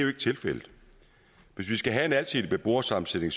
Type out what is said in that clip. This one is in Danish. er tilfældet hvis vi skal have en alsidig beboersammensætning